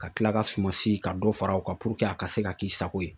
Ka kila ka suma si ka dɔ fara o kan a ka se ka k'i sago ye.